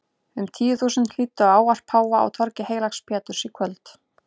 Um tíu þúsund hlýddu á ávarp páfa á torgi heilags Péturs í kvöld.